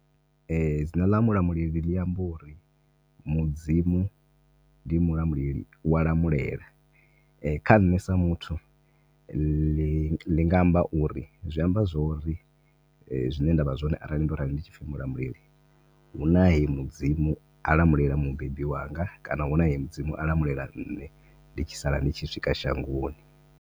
Dzina ḽa Mulamuleli ḽi amba uri mudzimu ndi Mulamuleli uya lamulela kha ṋne sa muthu ḽi nga amba uri zwa amba zwo ri zwine nda vha zwone arali ndo rali ndi tshipfi Mulamuleli huna he mudzimu a lamulela mubebi wanga, kana huna he mudzimu a lamulela ṋne ndi tshi sala ndi tshi swika shangoni.